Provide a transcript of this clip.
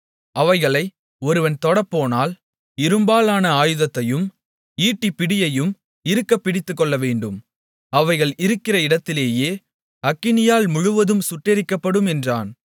அவைகளை ஒருவன் தொடப்போனால் இரும்பாலான ஆயுதத்தையும் ஈட்டிப்பிடியையும் இறுகப் பிடித்துக்கொள்ளவேண்டும் அவைகள் இருக்கிற இடத்திலேயே அக்கினியால் முழுவதும் சுட்டெரிக்கப்படும் என்றான்